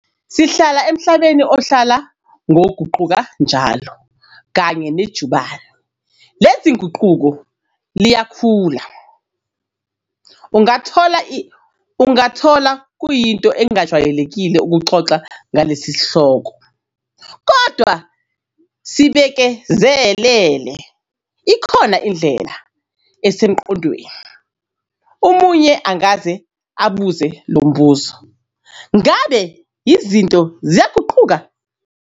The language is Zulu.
Sihlala emhlabeni ohlala ngoguquka njalo kanye nejubane lezinguquko liyakhula. Ungakuthola kuyinto engajwayelekile ukuxoxa ngalesi sihloko kodwa sibekezelele, ikhona indlela esengqondweni. Umunye angaze abuze lo mbuzo 'Ngabe izinto ziyaguquka?'